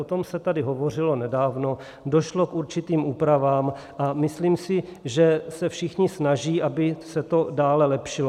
O tom se tady hovořilo nedávno, došlo k určitým úpravám a myslím si, že se všichni snaží, aby se to dále lepšilo.